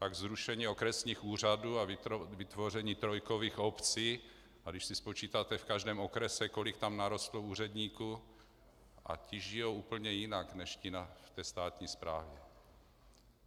Pak zrušení okresních úřadů a vytvoření trojkových obcí, a když si spočítáte v každém okrese, kolik tam narostlo úředníků, a ti žijí úplně jinak než ti na té státní správě.